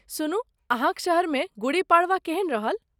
सुनु, अहाँक शहरमे गुड़ी पड़वा केहन रहल?